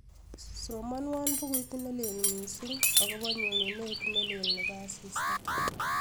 somonwon buguit nelel missing agopo nyonunet nelel nebo asista